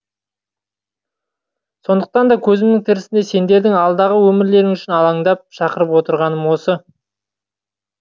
сондықтан да көзім тірісінде сендердің алдағы өмірлерің үшін алаңдап шақырып отырғаным осы